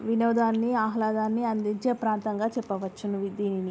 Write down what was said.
వినోదాన్ని ఆహ్లాదాన్ని అందించే ప్రాంతంగా చెప్పవచ్చును దీనిని.